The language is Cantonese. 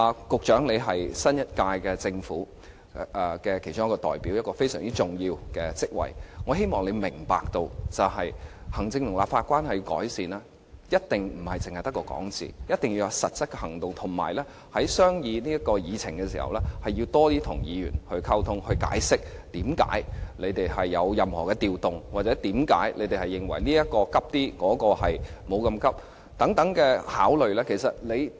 局長是新一屆政府的其中一位代表，擔任一個非常重要的職位，我希望你明白，要改善行政立法關係，一定不能只說，一定要有實質行動，以及在商議議程的時候，要多些與議員溝通，解釋為何政府有任何改動，或為何他們認為某項目較急切、另一項目可以暫緩處理等。